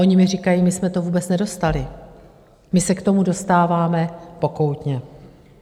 Oni mi říkají: My jsme to vůbec nedostali, my se k tomu dostáváme pokoutně.